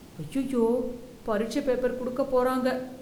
அய்யய்யோ! பரிட்சை பேப்பர் குடுக்க போறாங்க